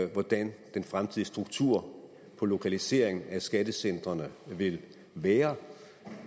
hvordan den fremtidige struktur på lokalisering af skattecentrene vil være